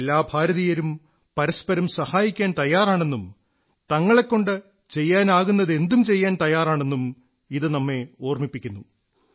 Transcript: എല്ലാ ഭാരതീയരും പരസ്പരം സഹായിക്കാൻ തയ്യാറാണെന്നും തങ്ങളെക്കൊണ്ടു ചെയ്യാനാകുന്നൈതന്തും ചെയ്യാൻ തയ്യാറാണെന്നും ഇത് നമ്മെ ഓർമ്മിപ്പിക്കുന്നു